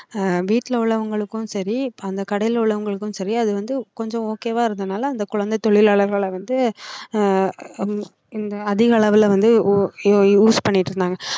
ஆஹ் வீட்டுல உள்ளவங்களுக்கும் சரி அந்த கடையில உள்ளவங்களுக்கும் சரி அது வந்து கொஞ்சம் okay வா இருந்ததுனால அந்த குழந்தை தொழிலாளர்களை வந்து ஆஹ் ஹம் இந்த அதிகளவுல வந்து use பண்ணிட்டு இருந்தாங்க